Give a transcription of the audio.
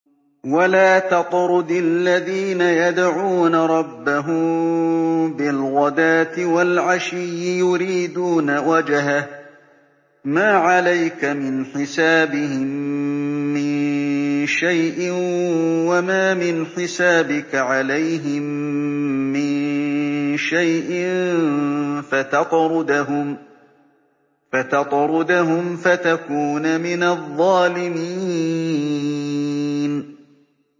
وَلَا تَطْرُدِ الَّذِينَ يَدْعُونَ رَبَّهُم بِالْغَدَاةِ وَالْعَشِيِّ يُرِيدُونَ وَجْهَهُ ۖ مَا عَلَيْكَ مِنْ حِسَابِهِم مِّن شَيْءٍ وَمَا مِنْ حِسَابِكَ عَلَيْهِم مِّن شَيْءٍ فَتَطْرُدَهُمْ فَتَكُونَ مِنَ الظَّالِمِينَ